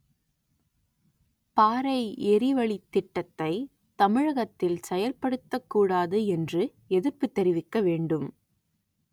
பாறை எரிவளித் திட்டத்தை தமிழகத்தில் செயற்படுத்தக்கூடாது என்று எதிர்ப்பு தெரிவிக்க வேண்டும்